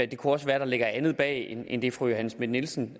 det kunne også være at der ligger andet bag end det fru johanne schmidt nielsen